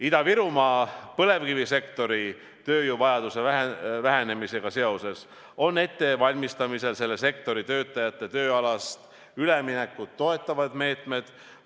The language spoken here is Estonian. Ida-Virumaa põlevkivisektori tööjõuvajaduse vähenemisega seoses on ettevalmistamisel selle sektori töötajate tööalast üleminekut toetavad meetmed.